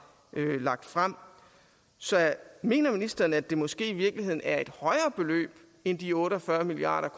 lagt frem så mener ministeren at det måske i virkeligheden er et højere beløb end de otte og fyrre milliard